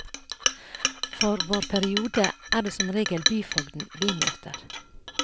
For vår periode er det som regel byfogden vi møter.